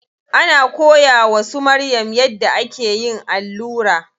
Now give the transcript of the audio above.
Ana koya wa su Maryam yadda ake yin allura.